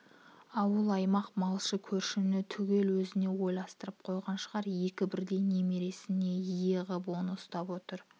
ауыл-аймақ малшы көршіні түгел өзіне ойыстырып қойған шығар екі бірдей немересін ие ғып оны ұстап отыр